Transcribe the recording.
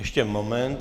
Ještě moment.